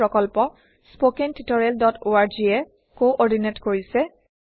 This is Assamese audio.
এই প্ৰকল্প httpspoken tutorialorg এ কোঅৰ্ডিনেট কৰিছে